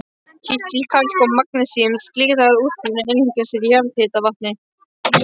Kísil-, kalk- og magnesíum-silíkat-útfellingar eru algengastar í jarðhitavatni.